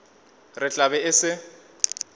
re tla be e se